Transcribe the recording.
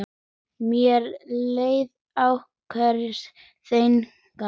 Mér leið akkúrat þannig.